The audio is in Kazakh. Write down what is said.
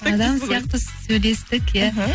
адам сияқты сөйлестік иә іхі